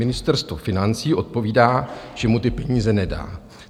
Ministerstvo financí odpovídá, že mu ty peníze nedá.